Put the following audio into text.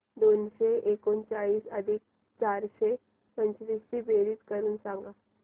दोनशे एकोणचाळीस अधिक चारशे पंचवीस ची बेरीज करून सांगा